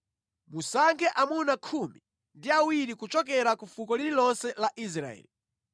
Musankhe amuna khumi ndi awiri kuchokera ku fuko lililonse la Israeli.